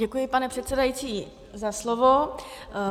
Děkuji, pane předsedající, za slovo.